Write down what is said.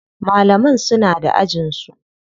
Malaman suna da ajin su.